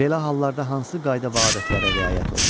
Belə hallarda hansı qayda və adətlərə riayət olunur?